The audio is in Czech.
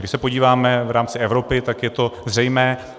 Když se podíváme v rámci Evropy, tak je to zřejmé.